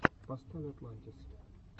поставь атлантис